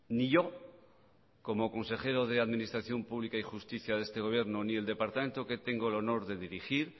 ni yo como consejero de administración pública y justicia de este gobierno ni el departamento que tengo el honor de dirigir